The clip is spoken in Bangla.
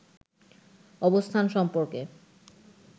অবস্থান সম্পর্কে